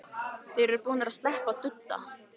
Þeir eru búnir að sleppa tudda!